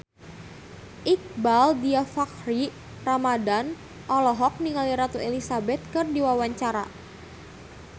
Iqbaal Dhiafakhri Ramadhan olohok ningali Ratu Elizabeth keur diwawancara